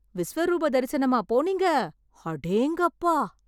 விஸ்வரூபதரிசனமா போனீங்க, அடேங்கப்பா!